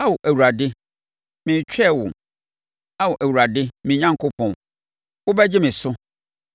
Ao Awurade, meretwɛn wo; Ao Awurade me Onyankopɔn, wobɛgye me so.